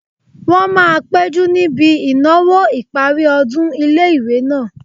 Wọ́n máa péjú níbi ìnáwó ìparí ọdún ilé-ìwé náà